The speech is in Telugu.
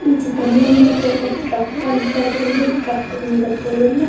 ఈ చిత్రంలో మనకి ట్రక్ కనబడుతుంది ట్రక్ మీద పూలు ఉన్నాయి.